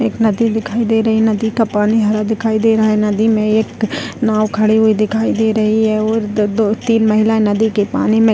एक नदी दिखाई दे रही है नदी का पानी हरा दिखाई दे रहा है नदी में एक नाव खड़ी हुई दिखाई दे रही है और दो-दो तीन महिलाएं नदी के पानी में --